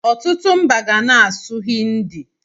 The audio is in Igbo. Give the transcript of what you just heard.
Ọtụtụ mba ga na-asụ Hindi.